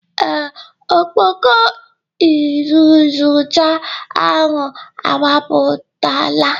Ee, ọkpọkọ iyuzucha ahụ agbapụtala